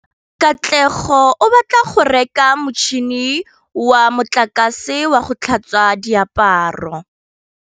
Katlego o batla go reka motšhine wa motlakase wa go tlhatswa diaparo.